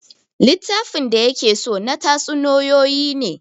Littafin da ya ke so na tatsuniyoyi ne